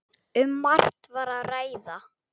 Um margt var að ræða.